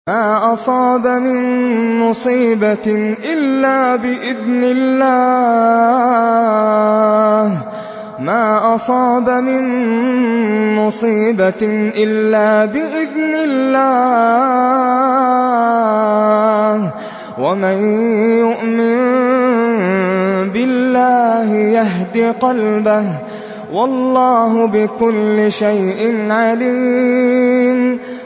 مَا أَصَابَ مِن مُّصِيبَةٍ إِلَّا بِإِذْنِ اللَّهِ ۗ وَمَن يُؤْمِن بِاللَّهِ يَهْدِ قَلْبَهُ ۚ وَاللَّهُ بِكُلِّ شَيْءٍ عَلِيمٌ